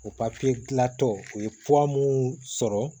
O papiye dilantɔ u ye mow sɔrɔ